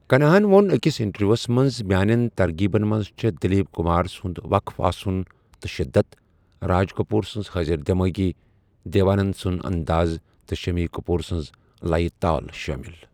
کھناہن ووٚن أکِس اِنٹروِیٛوہس منٛز 'میٛانیٚن ترغینن منٛز چھےٚ دِلیٖپ کُمار سُند وقف آسُن تہٕ شِدَت، راج کٔپوٗر سٕنٛز حٲضِر دیمٲغی ، دیو آننٛد سُنٛد انٛداز تہٕ شٔمی کٔپور سٕنٛز لیہ تال شٲمِل۔